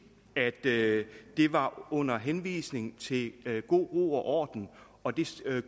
at det var under henvisning til god ro og orden og det